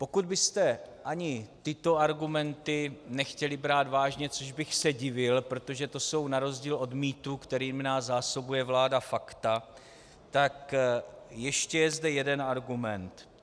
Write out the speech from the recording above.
Pokud byste ani tyto argumenty nechtěli brát vážně, což bych se divil, protože to jsou na rozdíl od mýtů, kterými nás zásobuje vláda, fakta, tak ještě je zde jeden argument.